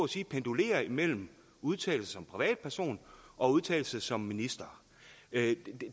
sige pendulere imellem at udtale sig som privatperson og udtale sig som minister